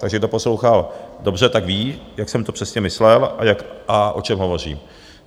Takže kdo poslouchal dobře, tak ví, jak jsem to přesně myslel a o čem hovořím.